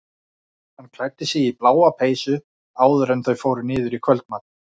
Hann klæddi sig í bláa peysu áður en þau fóru niður í kvöldmat.